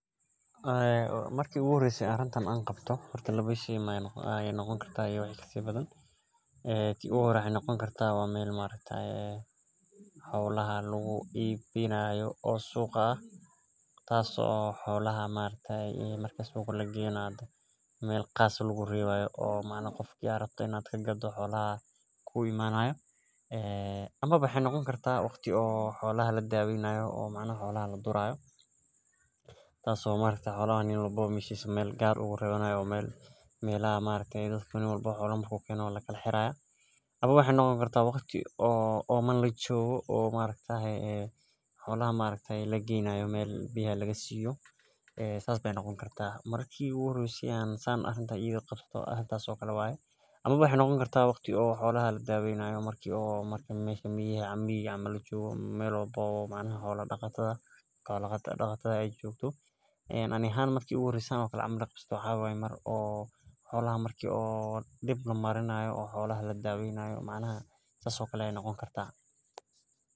Marki u horeyse an hoshan qabto maxee noqoni kartaa mesha lagu ibinayo ama suqa oo aa rabto in aa kaibiso amawa maxee noqoni kartaa in aa xolaha durani hayso ama wa aa daweyni haso ama waxee noqoni kartaa marki aa xolaha biyaha geyneso oo dawa sineyso si aa cafimaadkodha ola socoto aniga marki anigaa marki aan dib marinayo ayan san sameyni jire.